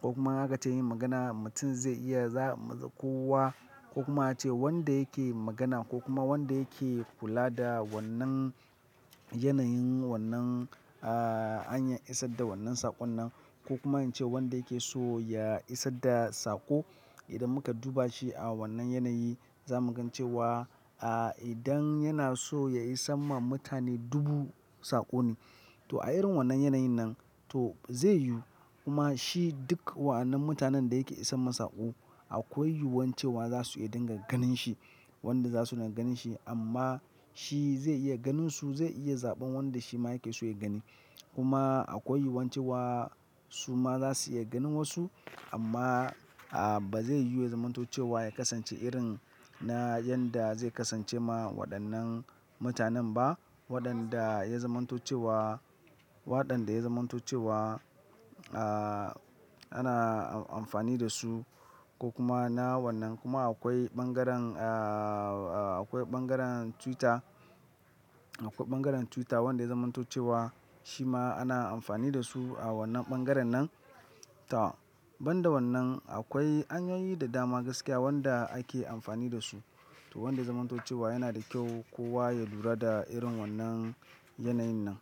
ko kuma in aka ce yin magana mutum zai iya za-- kowa ko kuma ace wanda yake magana ko kuma wanda yake kula da wannan yanayin wannan, ah, hanyan isar da wannan saƙon nan ko kuma in ce wanda yake so ya isar da saƙo idan muka duba shi a wannan yanayi za mu gan cewa, ah, idan yana so ya isan ma mutane dubu saƙo ne. To a irin wannan yanayin nan to zai yiwu kuma shi duk wa'annan mutanen da yake isan ma saƙo akwai yuwuwan cewa za su iya dinga ganin shi wanda za su na ganin shi amma shi zai iya ganin su zai iya zaɓan wanda shi ma yake so ya gani. Kuma akwai yuwuwan cewa su ma za su iya ganin wasu amma, ah, ba zai yiwu ya zamanto cewa ya kasance irin na yanda zai kasance ma waɗannan mutanen ba waɗanda ya zamanto cewa, waɗanda ya zamanto cewa, ah, ana amfani da su ko kuma na wannan kuma akwai ɓangaren, ah, akwai ɓangaren Twitter, akwai ɓangaren Twitter wanda ya zamantocewa shi ma ana amfani da su a wannan ɓangaren nan. To banda wannan akwai hanyoyi da dama gaskiya wanda ake amfani da su to wanda zamanto cewa yana da kyau kowa ya lura da irin wannan yanayin nan.